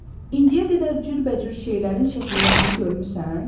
İndiyə qədər cürbəcür şeylərin şəkillərini görmüsən?